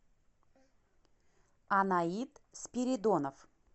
анаид спиридонов